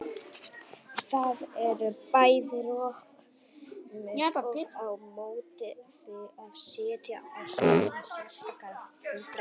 Það eru bæði rök með og á móti því að setja á stofn sérstakar fulltrúanefndir.